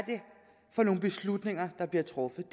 for nogle beslutninger der bliver truffet